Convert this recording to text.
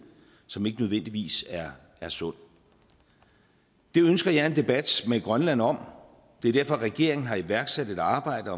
som ikke nødvendigvis er sund det ønsker jeg en debat med grønland om det er derfor regeringen har iværksat et arbejde